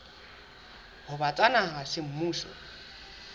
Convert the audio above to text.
ho ba tsa naha semmuso